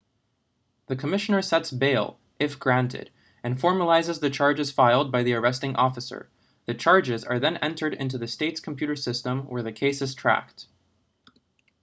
the commissioner sets bail if granted and formalizes the charges filed by the arresting officer the charges are then entered into the state's computer system where the case is tracked